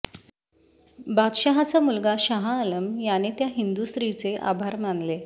बादशहाचा मुलगा शहाआलम याने त्या हिंदू स्त्रीचे आभार मानले